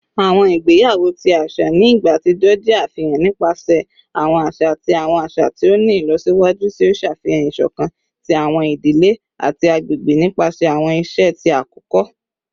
Awọn igbeyawo ti aṣa ni igba atijọ jẹ afihan nipasẹ awọn aṣa ati awọn aṣa ti o ni ilọsiwaju, ti o ṣe afihan isokan ti awọn idile ati agbegbe nipasẹ awọn iṣe ti akoko.